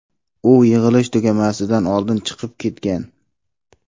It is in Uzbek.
U yig‘ilish tugamasidan oldin chiqib ketgan.